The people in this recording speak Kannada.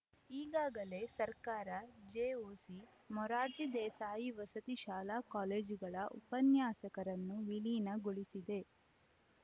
ಈಗಾಗಲೇ ಸರ್ಕಾರ ಜೆಒಸಿ ಮೊರಾರ್ಜಿ ದೇಸಾಯಿ ವಸತಿ ಶಾಲಾ ಕಾಲೇಜುಗಳ ಉಪನ್ಯಾಸಕರನ್ನು ವಿಲೀನ ಗೊಳಿಸಿದೆ